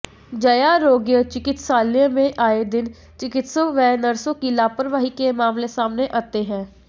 जयारोग्य चिकित्सालय में आए दिन चिकित्सकों व नर्सों की लापरवाही के मामले सामने आते हैं